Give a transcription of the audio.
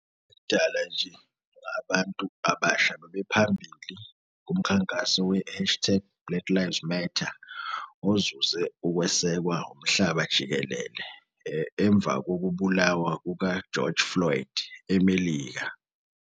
dala nje, abantu abasha bebephambili kumkhankaso we-hashtag BlackLivesMatter ozuze ukwesekwa umhlaba jikelele emva kokubulawa kuka-George Floyd eMelika.